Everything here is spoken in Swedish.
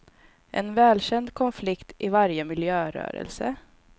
En välkänd konflikt i varje miljörörelse.